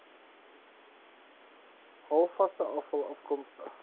halfvaste afval afkomstig